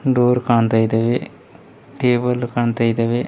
Door ಕಾಣ್ತಾ ಇದ್ದೇವೆ table ಕಾಣ್ತಾ ಇದಾವೆ.